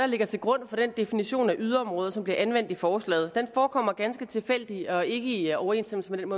ligger til grund for den definition af yderområder som bliver anvendt i forslaget den forekommer at ganske tilfældig og ikke i overensstemmelse med den